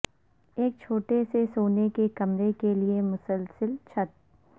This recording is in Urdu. ایک چھوٹے سے سونے کے کمرے کے لئے مسلسل چھت